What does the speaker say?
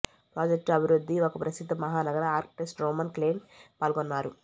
project అభివృద్ధి ఒక ప్రసిద్ధ మహానగర ఆర్కిటెక్ట్ రోమన్ క్లైన్ పాల్గొన్నారు